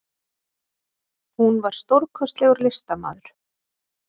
Hún var stórkostlegur listamaður.